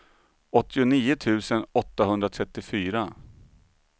åttionio tusen åttahundratrettiofyra